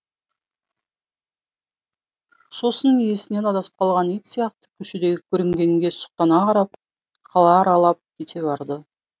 сосын иесінен адасып қалған ит сияқты көшедегі көрінгенге сұқтана қарап қала аралап кете барды